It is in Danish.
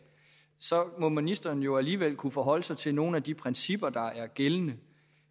må ministeren jo alligevel kunne forholde sig til nogle af de principper der er gældende